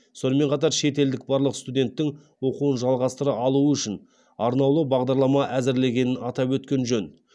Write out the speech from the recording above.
сонымен қатар шетелдік барлық студенттің оқуын жалғастыра алуы үшін арнаулы бағдарлама әзірлегенін атап өткен жөн